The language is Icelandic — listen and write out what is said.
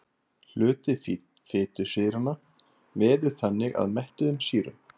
Hluti fitusýranna veður þannig að mettuðum sýrum.